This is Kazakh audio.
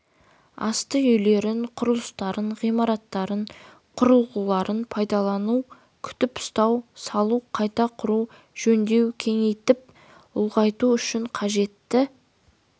асты үйлерін құрылыстарын ғимараттарын құрылғыларын пайдалану күтіп-ұстау салу қайта құру жөндеуі кеңейтіп ұлғайту үшін қажетті